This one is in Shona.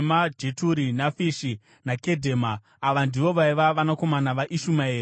Jeturi, Nafishi, naKedhema. Ava ndivo vaiva vanakomana vaIshumaeri.